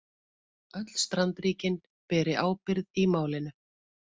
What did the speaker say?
Öll strandríkin beri ábyrgð í málinu